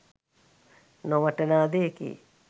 නොවටනා දෙයකි